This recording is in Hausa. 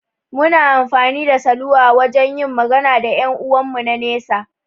Muna amfani da saluwa wajan yin magana da ƴan 'uwan mu na nesa